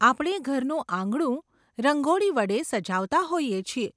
આપણે ઘરનું આંગણું રંગોળી વડે સજાવતા હોઈએ છીએ.